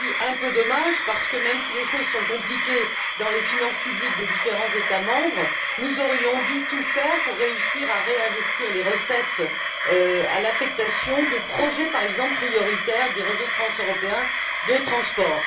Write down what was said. Un peu dommage parce que, même si les choses sont compliquées dans les finances publiques des différents États membres, nous aurions dû tout faire pour réussir à réinvestir les recettes au bénéfice, par exemple, des projets prioritaires des réseaux transeuropéens de transport.